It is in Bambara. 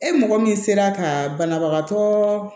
E mɔgɔ min sera ka banabagatɔ